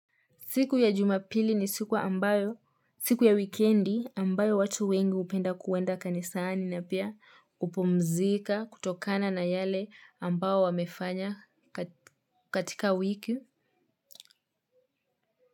Siku ya jumapili ni siku ya wikendi ambayo watu wengi hupenda kwenda kanisani na pia kupmzika kutokana na yale ambayo wamefanya katika wiki.